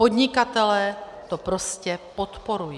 Podnikatelé to prostě podporují.